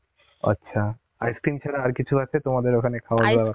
আচ্ছা, ice cream ছাড়া আর কিছু আছে তোমাদের ওখানে খাওয়ার